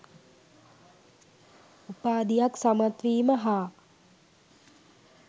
උපාධියක් සමත්වීම හා